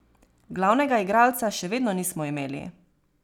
Glavnega igralca še vedno nismo imeli.